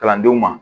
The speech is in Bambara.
Kalandenw ma